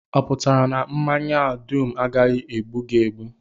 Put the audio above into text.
Ọ pụtara na mmanya a dum agaghị egbu gị egbu?